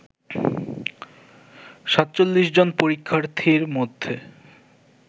৪৭ জন পরীক্ষার্থীর মধ্যে